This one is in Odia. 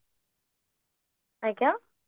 ଆଜ୍ଞା